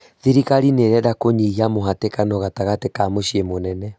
Thirikari nĩirenda kũnyihia mũhatĩkano gatagatĩ ka mũciĩ mũnene